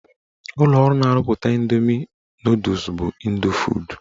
Ụlọọrụ na-arụpụta Ịndoomi nọdụs bụ Ịndofood.